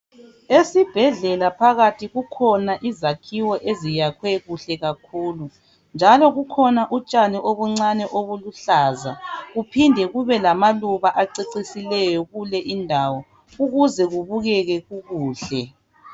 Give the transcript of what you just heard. Esibhedlela phakathi kukhona izakhiwo eziyakhwe kuhle kakhulu njalo kukhona utshani obuncane obuluhlaza kuphinde kube lamaluba acecisileyo kule indawo ukuze kubukeke kukuhle.